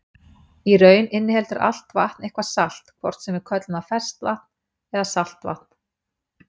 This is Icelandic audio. Í raun inniheldur allt vatn eitthvað salt, hvort sem við köllum það ferskvatn eða saltvatn.